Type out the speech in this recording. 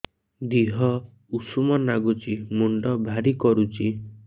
ଦିହ ଉଷୁମ ନାଗୁଚି ମୁଣ୍ଡ ଭାରି କରୁଚି